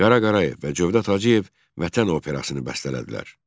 Qara Qarayev və Cövdət Hacıyev Vətən operasını bəstələdilər.